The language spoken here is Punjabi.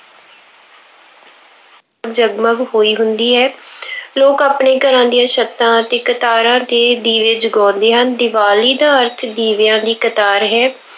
ਜਗ-ਮਗ ਜਗ-ਮਗ ਹੋਈ ਹੁੰਦੀ ਹੈ। ਲੋਕ ਆਪਣੇ ਘਰਾਂ ਦੀਆਂ ਛੱਤਾਂ ਅਤੇ ਕਤਾਰਾਂ ਤੇ ਦੀਵੇ ਜਗਾਉਂਦੇ ਹਨ। ਦੀਵਾਲੀ ਦਾ ਅਰਥ ਦੀਵਿਆਂ ਦੀ ਕਤਾਰ ਹੈ।